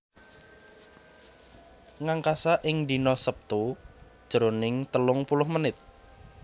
Ngangkasa ing dina Sabtu jroning telung puluh menit